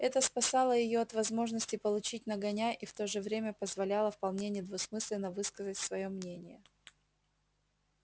это спасало её от возможности получить нагоняй и в то же время позволяло вполне недвусмысленно высказывать своё мнение